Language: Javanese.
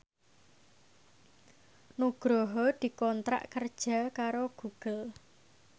Nugroho dikontrak kerja karo Google